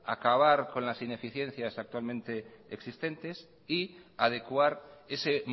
acabar con las ineficiencias actualmente existentes y adecuar ese